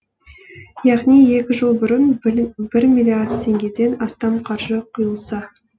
яғни екі жыл бұрын бір миллиард теңгеден астам қаржы құйылса